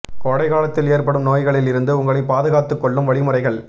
கோடை காலத்தில் ஏற்படும் நோய்களில் இருந்து உங்களை பாதுகாத்துக் கொள்ளும் வழிமுறைகள்